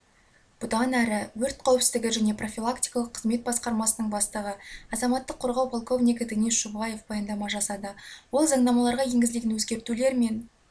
бұдан әрі өрт қауіпсіздігі және профилактикалық қызмет басқармасының бастығы азаматтық қорғау полковнигі денис шуваев баяндама жасады ол заңнамаларға енгізілген өзгертулер мен